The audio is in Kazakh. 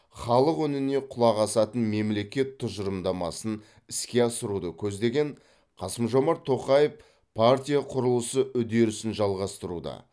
халық үніне құлақ асатын мемлекет тұжырымдамасын іске асыруды көздеген қасым жомарт тоқаев партия құрылысы үдерісін жалғастыруды